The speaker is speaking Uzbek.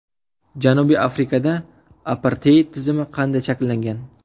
Janubiy Afrikada aparteid tizimi qanday shakllangan?.